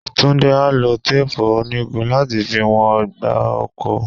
Túndé á lo téèpù onígun láti fi wọn ọgbà oko.